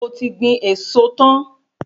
Ṣé o ti gbin èso tan?